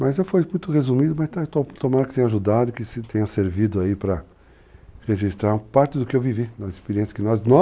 Mas foi muito resumido, mas tomara que tenha ajudado, que tenha servido para registrar parte do que eu vivi, das experiência que nós,